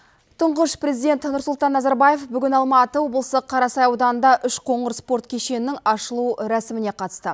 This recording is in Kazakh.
тұңғыш президент нұрсұлтан назарбаев бүгін алматы облысы қарасай ауданында үшқоңыр спорт кешенінің ашылу рәсіміне қатысты